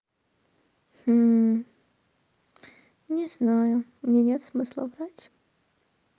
не знаю мне нет смысла врать